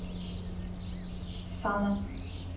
сана